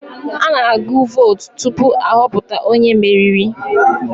A na-agụ vootu tupu ahọpụta onye meriri.